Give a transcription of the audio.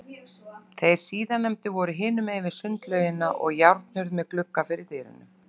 Þeir síðarnefndu voru hinum megin við sundlaugina, og járnhurð með glugga fyrir dyrum.